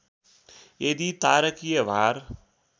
यदि तारकीय भार